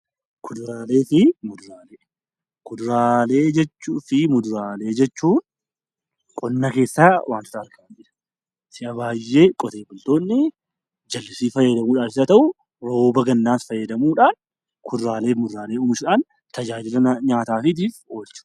Kuduraalee jechuu fi muduraalee jechuun qonna keessaa wantoota si'a baay'ee qote bultoonni jallisii fayyadamuudhaan oomishan yoo ta'u, rooba gannaas fayyadamuudhaan kuduraalee fi muduraalee oomishuudhaan tajaajila nyaataatiif oolchanidha.